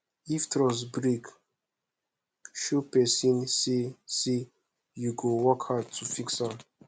if trust break show pesin say say yu go work hard to fix am